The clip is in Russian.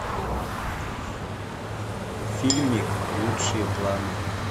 фильмик лучшие планы